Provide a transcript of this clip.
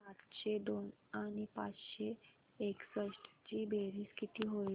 सातशे दोन आणि पाचशे एकसष्ट ची बेरीज किती होईल